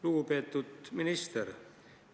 Lugupeetud minister!